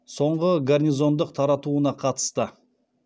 соңғы гарнизондық таратуына қатысты